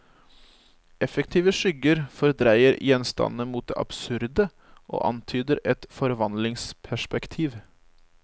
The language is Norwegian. Effektive skygger fordreier gjenstandene mot det absurde og antyder et forvandlingsperspektiv.